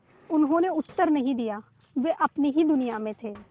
उन्होंने उत्तर नहीं दिया वे अपनी ही दुनिया में थे